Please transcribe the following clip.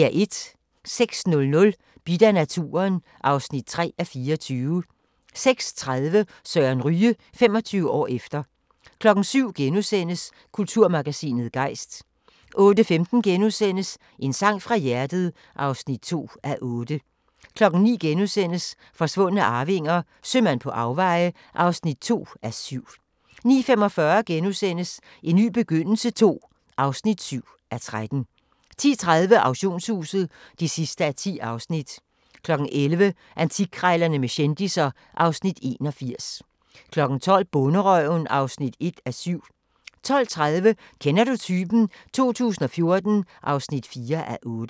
06:00: Bidt af naturen (3:24) 06:30: Søren Ryge – 25 år efter 07:00: Kulturmagasinet Gejst * 08:15: En sang fra hjertet (2:8)* 09:00: Forsvundne arvinger: Sømand på afveje (2:7)* 09:45: En ny begyndelse II (7:13)* 10:30: Auktionshuset (10:10) 11:00: Antikkrejlerne med kendisser (Afs. 81) 12:00: Bonderøven (1:7) 12:30: Kender du typen? 2014 (4:8)